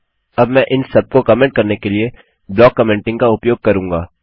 अब मैं इन सबको कमेन्ट करने के लिए ब्लाक कमेंटिंग का उपयोग करूँगा